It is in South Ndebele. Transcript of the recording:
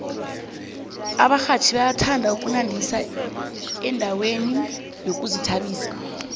abarhatjhi bayathanda ukunandisa endaweni zokuzithabisa